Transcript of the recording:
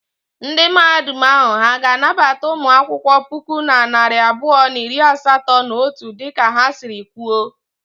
Ndị Mahadum ahụ ha ga-anabata ụmụ akwụkwọ puku na narị abụọ na iri asatọ na otu dịka ha sịrị kwuo?